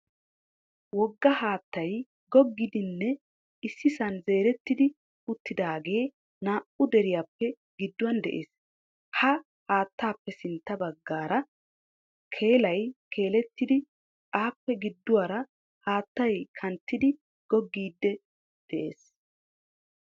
Wogga haattay goggiidinne issisaan zeerettidi uttidaage naa"u deriyaappe giduwaan de'ees. Ha haattaappe sintta baggaara keelay keelettidi appe gidduwaara haattay kanttidi googgiidi de'ees.